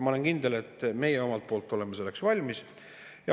Ma olen kindel, et meie omalt poolt oleme selleks valmis.